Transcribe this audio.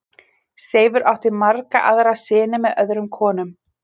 Seifur átti marga aðra syni með öðrum konum.